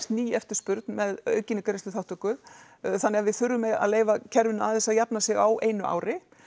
ný eftispurn með aukinni greiðslu þáttöku þannig að við þurfum að leyfa kerfinu aðeins að jafna sig á einu ári